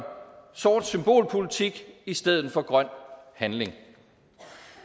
sort symbolpolitik i stedet for grøn handling